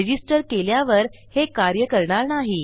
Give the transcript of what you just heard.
Registerकेल्यावर हे कार्य करणार नाही